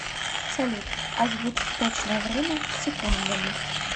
салют озвучь точное время с секундами